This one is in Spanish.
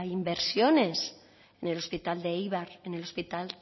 inversiones ni el hospital de eibar en el hospital